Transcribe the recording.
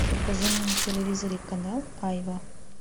покажи мне на телевизоре канал айва